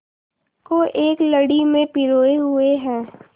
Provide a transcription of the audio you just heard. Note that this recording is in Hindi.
को एक लड़ी में पिरोए हुए हैं